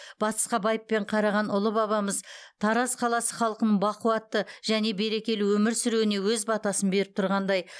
батысқа байыппен қараған ұлы бабамыз тараз қаласы халқының бақуатты және берекелі өмір сүруіне өз батасын беріп тұрғандай